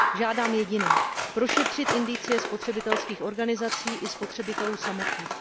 Žádám jediné prošetřit indicie spotřebitelských organizací i spotřebitelů samotných.